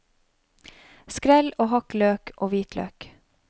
Skrell og hakk løk og hvitløk.